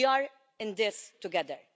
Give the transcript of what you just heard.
We are in this together.